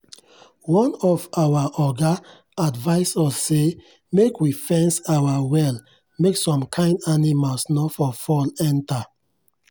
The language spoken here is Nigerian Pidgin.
one of our oga advice us say make we fence our well make some kind animals nor for fall enter.